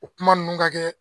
O kuma ninnu ka kɛ